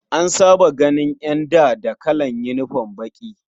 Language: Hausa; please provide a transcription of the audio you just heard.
An saba ganin ƴanda da kalan unifom baƙi.